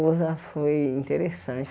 foi interessante.